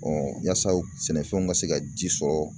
yaasa sɛnɛfɛnw ka se ka ji sɔrɔ